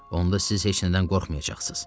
Onda siz heç nədən qorxmayacaqsınız.